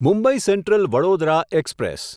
Mumbai Central Vadodara express